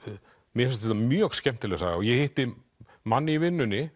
mér finnst þetta mjög skemmtileg saga og ég hitti mann í vinnunni